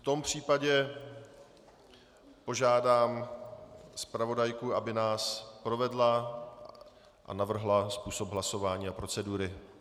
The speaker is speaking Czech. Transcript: V tom případě požádám zpravodajku, aby nás provedla a navrhla způsob hlasování a procedury.